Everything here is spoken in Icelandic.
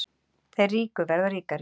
Þeir ríku verða ríkari